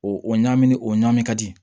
O o ɲagami ni o ɲaamin ka di